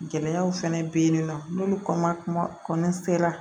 Gɛlɛyaw fɛnɛ be yen nɔ n'olu ma kuma la